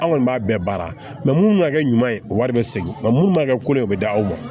An kɔni b'a bɛɛ baara munnu ma kɛ ɲuman ye wari be segin nka mun ma kɛ ko de ye u be d'aw ma